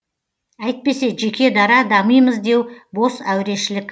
әйтпесе жеке дара дамимыз деу бос әурешілік